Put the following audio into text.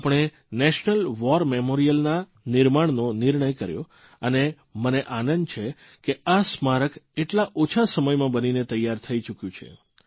આપણે national war મેમોરિયલરાષ્ટ્રીય યુદ્ધ સ્મારકના નિર્માણનો નિર્ણય કર્યો અને મને આનંદ છે કે આ સ્મારક આટલા ઓછા સમયમાં બનીને તૈયાર થઇ ચૂક્યું છે